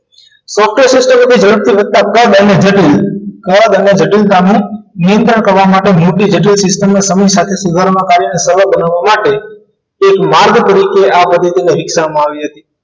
software system ઝડપથી વધતા કદ અને જટીલ કદ અને જટિલતાનું નિયંત્રણ કરવા માટે મોટી જટિલ system ને સમય સાથે સુધારવા કાર્યનો સમય બનાવવા માટે એક માર્ગ તરીકે આ પદ્ધતિને વિકસાવવામાં આવી હતી